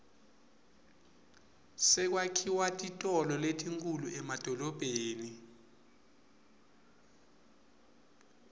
sekwakhiwa titolo letinkhulu emadolobheni